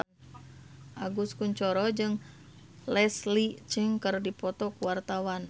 Agus Kuncoro jeung Leslie Cheung keur dipoto ku wartawan